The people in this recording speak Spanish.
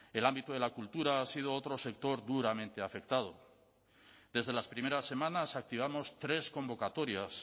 el ámbito de la cultura ha sido otro sector duramente afectado desde las primeras semanas activamos tres convocatorias